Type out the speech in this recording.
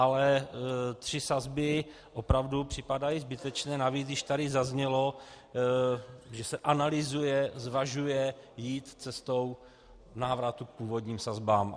Ale tři sazby opravdu připadají zbytečné, navíc když tady zaznělo, že se analyzuje, zvažuje jít cestou návratu k původním sazbám.